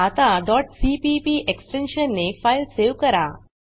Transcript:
आता cpp extension ने file save करा